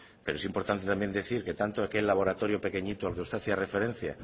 pero es importante también decir que tanto aquel laboratorio pequeñito al que usted hacía referencia